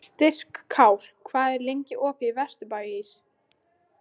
Styrkár, hvað er lengi opið í Vesturbæjarís?